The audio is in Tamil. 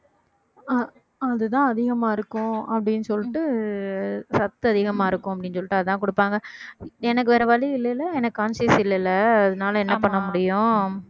அஹ் அதுதான் அதிகமா இருக்கும் அப்படீன்னு சொல்லிட்டு சத்து அதிகமா இருக்கும் அப்படீன்னு சொல்லிட்டு அதான் கொடுப்பாங்க எனக்கு வேற வழி இல்லைல எனக்கு conscious இல்லைல்ல அதனால என்ன பண்ண முடியும்